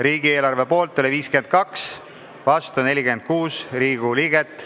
Riigieelarve poolt oli 52, vastu 46 Riigikogu liiget.